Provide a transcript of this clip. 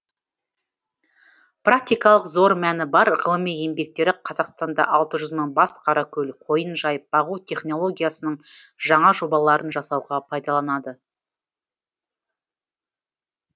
практикалық зор мәні бар ғылыми еңбектері қазақстанда алты жүз мың бас қаракөл қойын жайып бағу технологиясының жаңа жобаларын жасауға пайдаланады